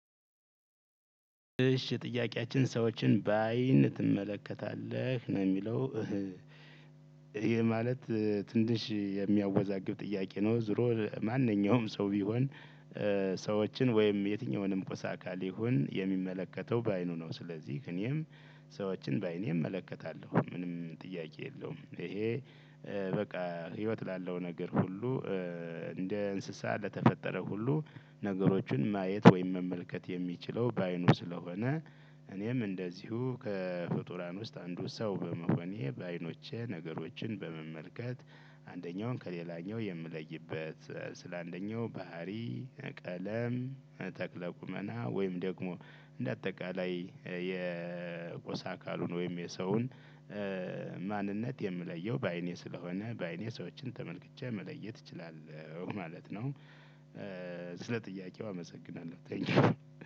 እሺ ጥያቄያችን "ሰዎችን በአይን ትመለከታለህ ነው?" የሚለው ይሄ ማለት ትንሽ የሚያወዛግብ ጥያቄ ነው። ዙሮ ማንኛውም ሰው ቢሆን ሰዎችን ወይም የትኛውንም ቁስ አካል ይሁን፤ የሚመለከተው በአይኑ ነው። ስለዚህ እኔም ሰዎችን በአይኔም እመለከታለሁ ምንም ጥያቄ የለውም። ይሄ በቃ ህይወት ላለው ነገር ሁሉ፤ እንደ እንስሳ ለተፈጠረ ሁሉ ነገሮችን ማየት ወይም መመልከት የሚችለው በአይኑ ስለሆነ እኔም እንደዚሁ ከፍጡራን ውስጥ አንዱ ሰው በመሆኔ፤ በአይኖቼ ነገሮችን በመመልከት አንደኛውን ከሌላኛው የምለይበት፤ ስለ አንደኛው ባህሪ፣ ቀለም፣ ተክለ ቁመና ወይም ደግሞ እንደ አጠቃላይ የቋ አካሉን ወይም የሰውን ማንነት የምለየው በአይኔ ስለሆነ፤ በአይኔ ሰዎችን ተመልክቼ መለየት እችላለውኝ ማለት ነው። ስለ ጥያቄው አመሰግናለሁ። ቴንኪው።